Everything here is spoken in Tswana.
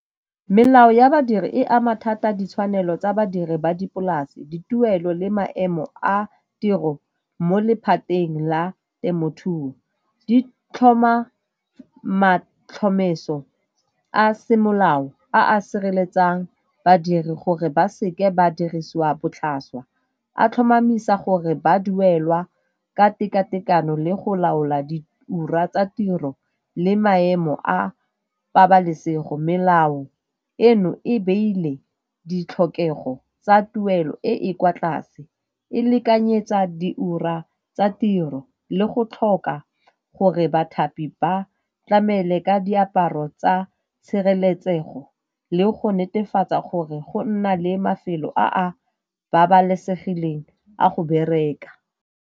Melao ya badiri e ama thata ditshwanelo tsa badiri ba dipolase, dituelo le maemo a tiro mo lephateng la temothuo. Di tlhoma matlhomeso a semolao a a sireletsang badiri gore ba seke ba dirisiwa botlhaswa, a tlhomamisa gore ba duelwa ka tekatekano le go laola di ura tsa tiro le maemo a pabalesego. Melao eno e beile ditlhokego tsa tuelo e e kwa tlase e lekanyetsa di ura tsa tiro le go tlhoka gore bathapi ba tlamele ka diaparo tsa tshireletsego le go netefatsa gore go nna le mafelo a a babalesegileng a go bereka.